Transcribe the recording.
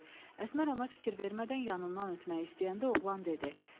Əsmər ona fikir vermədən yanından ötmək istəyəndə oğlan dedi: